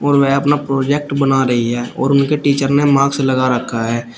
और वह अपना प्रोजेक्ट बना रही है और उनके टीचर ने मास्क लगा रखा है।